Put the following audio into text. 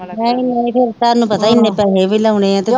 ਨਹੀਂ ਨਹੀਂ ਤੁਹਾਨੂੰ ਪਤਾ ਏਨੇ ਪੈਸੇ ਵੀ ਲਾਉਣੇ ਆ ਤੇ ਫਿਰ